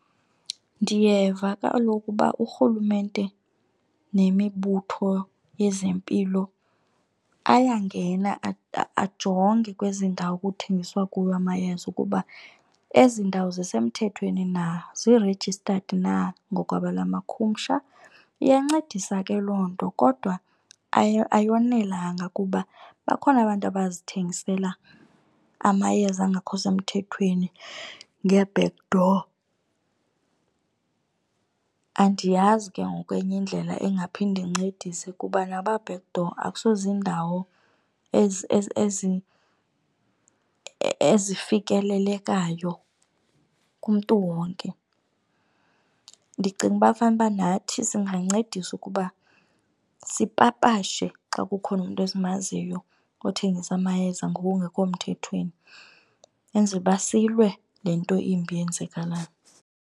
Ndiyeva kaloku uba uRhulumente nemibutho yezempilo ayangena ajonge kwezi ndawo kuthengiswa kuyo amayeza ukuba ezi ndawo zisemthethweni na, zi-registered na ngokwelamakhumsha. Iyancedisa ke loo nto kodwa ayonelanga kuba bakhona abantu abazithengisela amayeza angekho semthethweni ngee-backdoor. Andiyazi ke ngoku enye indlela engaphinde incedise kuba naba backdoor akusozindawo ezifikelelekayo kumntu wonke. Ndicinga uba fanuba nathi singancedisa ukuba sipapashe xa kukhona umntu esimaziyo othengisa amayeza ngokungekho mthethweni, enzele uba silwe le nto imbi eyenzakalayo.